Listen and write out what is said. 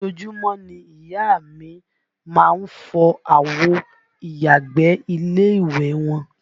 Ojoojúmọ́ ni ìyá a mi má ń fọ àwo ìyàgbẹ́ ilé ìwẹ̀ wọn